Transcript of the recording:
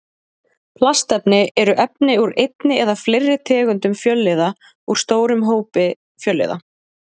Plastefni eru efni úr einni eða fleiri tegundum fjölliða úr stórum hópi fjölliða.